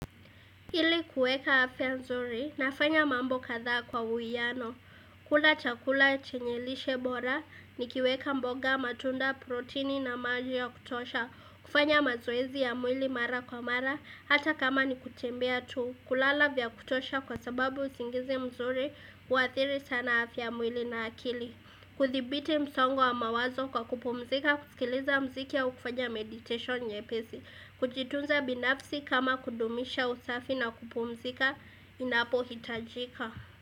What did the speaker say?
Ili kuweka afya nzuri, nafanya mambo kadhaa kwa uwiano. Kula chakula chenyelishe bora, nikiweka mboga matunda protini na maji ya kutosha, kufanya mazoezi ya mwili mara kwa mara, hata kama ni kutembea tu, kulala vya kutosha kwa sababu usingizi mzuri, uathiri sana afya ya mwili na akili. Kuthibiti msongo wa mawazo kwa kupumzika, kusikiliza muziki au kufanya meditation nyepesi Kujitunza binafsi kama kudumisha usafi na kupumzika inapo hitajika.